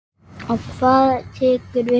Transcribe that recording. Og hvað tekur við?